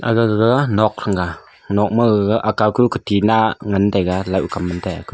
agaga nok thranga nok thang ga gaga akawku ka tina ngan taiga laohkam mantai aku.